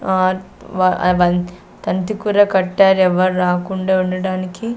are వ అవంత్ తంతి కూడా కట్టారు ఎవ్వరు రాకుండా ఉండడానికి --